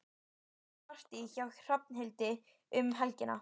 Það er partí hjá Hrafnhildi um helgina.